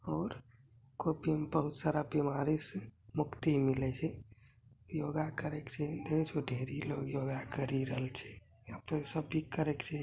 और कोई बहुत सारा बीमारी से मुक्ति मिले छै योगा करय छै और ढेरी लोग योगा करी रहलो छै करे छै।